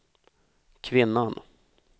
kvinnan